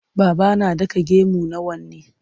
Baba na ɗaka gemu na wane.